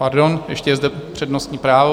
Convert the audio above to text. Pardon, ještě je zde přednostní právo.